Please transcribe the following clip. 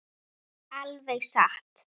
Alveg satt!